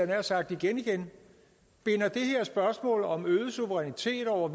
nær sagt igen igen binder det her spørgsmål om øget suverænitet over